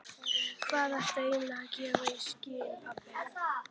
Hvað ertu eiginlega að gefa í skyn, pabbi?